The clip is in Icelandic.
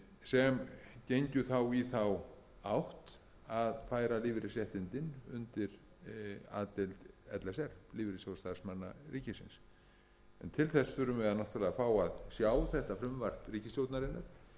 sem gengju þá í þá átt að færa lífeyrisréttindin undir a deild l s r lífeyrissjóð starfsmanna ríkisins en til þess þurfum við náttúrlega að fá að sjá þetta frumvarp ríkisstjórnarinnar